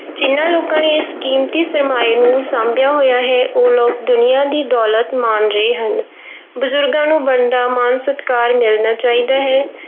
ਜਿਹਨਾਂ ਲੋਕਾਂ ਨੇ ਇਸ ਕੀਮਤੀ ਸ਼ਰਮਾਏ ਨੂੰ ਸਾਂਭਿਆ ਹੋਇਆ ਹੈ, ਉਹ ਲੋਕ ਦੁਨੀਆਂ ਦੀ ਦੌਲਤ ਮਾਣ ਰਹੇ ਹਨ ਬਜ਼ੁਰਗਾਂ ਨੂੰ ਬਣਦਾ ਮਾਣ ਸਤਿਕਾਰ ਮਿਲਣਾ ਚਾਹੀਦਾ ਹੈ।